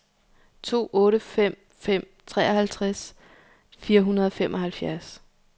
to otte fem fem treoghalvtreds fire hundrede og femoghalvfjerds